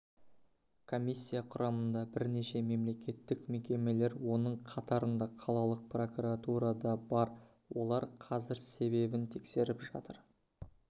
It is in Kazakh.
комиссия құрамында бірнеше мемлекеттік мекемелер оның қатарында қалалық прокуратура да бар олар қазір себебін тексеріп жатыр